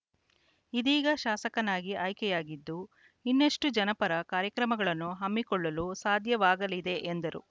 ಇದೀಗ ಶಾಸಕನಾಗಿ ಆಯ್ಕೆಯಾಗಿದ್ದು ಇನ್ನಷ್ಟುಜನಪರ ಕಾರ್ಯಕ್ರಮಗಳನ್ನು ಹಮ್ಮಿಕೊಳ್ಳಲು ಸಾಧ್ಯವಾಗಲಿದೆ ಎಂದರು